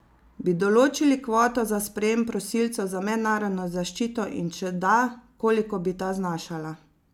Bi določili kvoto za sprejem prosilcev za mednarodno zaščito in če da, koliko bi ta znašala?